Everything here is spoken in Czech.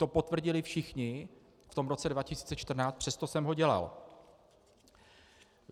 To potvrdili všichni v tom roce 2014, přesto jsem ho dělal.